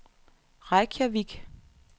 Reykjavik